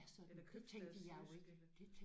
Eller købstadsjysk eller?